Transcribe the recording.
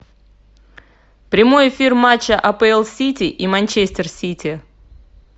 прямой эфир матча апл сити и манчестер сити